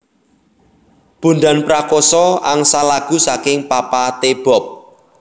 Bondan Prakoso angsal lagu saking Papa T Bob